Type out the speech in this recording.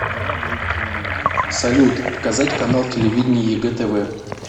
салют показать канал телевидения егэ тв